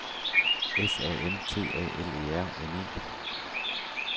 S A M T A L E R N E